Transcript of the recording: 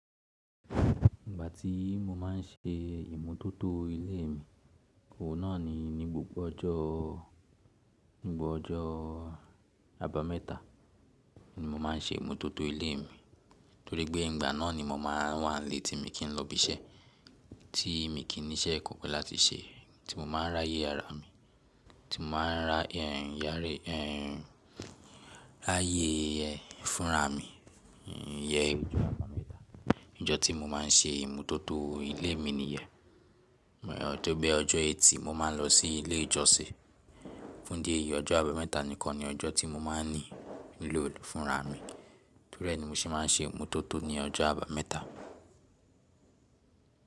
Ìgbà tí mo má n ṣe ìmotótó ilé mi, òun náà ni ní gbogbo ọjọ́, nígbogbo ọjọ́ àbámẹ́ta ni mo má n ṣe ìmotótó ilé mi, torí pé ìgbà náà ni mo má n wà nílé tí mi kín lọ ibi iṣẹ́, tí mi kín ní iṣẹ́ kankan láti ṣe, tí mo má n r'áyé ara mi, tí mo má n r'áyé fúnra mi. Iyén ojó àbámẹ́ta, ọjọ́ tí mo má n ṣe ìmotótó ilé mi nìyẹn. Bó tí ó bẹ ọjọ́ ẹtì mo má n lọ sí ilé ìjọsìn. Fún dí èyí ọjọ́ àbámẹ́ta nìkan ni ọjọ́ tí mo má n ní nílò fúnra mi. Torí ẹ ni mo ṣe ma n ṣe ìmotótó ní ọjọ́ àbámẹ́ta.